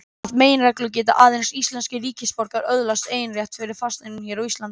Að meginreglu geta aðeins íslenskir ríkisborgarar öðlast eignarrétt yfir fasteignum hér á landi.